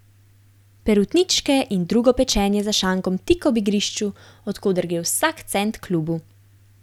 Perutničke in drugo pečenje za šankom tik ob igrišču, od koder gre vsak cent klubu.